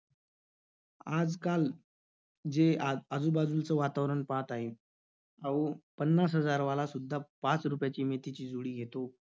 आजकाल जे आ~ आजूबाजूचं वातावरण पाहत आहे. अहो, पन्नास हजारवाला सुद्धा पाच रुपयाची मेथीची जोडी घेतो.